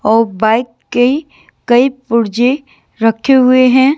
औ बाइक के कई पुर्जे रखे हुए हैं।